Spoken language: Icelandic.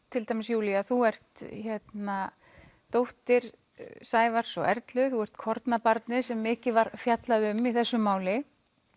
til dæmis Júlía þú ert dóttir Sævars og Erlu þú ert kornabarnið sem mikið var fjallað um í þessu máli